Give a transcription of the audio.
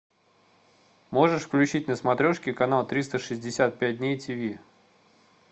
можешь включить на смотрешке канал триста шестьдесят пять дней тв